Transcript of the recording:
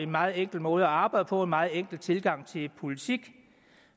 meget enkel måde at arbejde på en meget enkel tilgang til politik